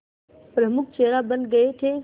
प्रमुख चेहरा बन गए थे